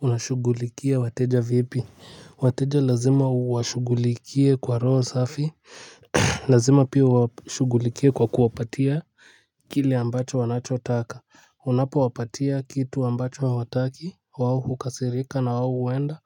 Unashughulikia wateja vipi. Wateja lazima uwashugulikie kwa roho safi. Lazima pia uwashugulikie kwa kuwapatia kile ambacho wanachotaka. Unapo wapatia kitu ambacho hawataki wao hukasirika na wao uenda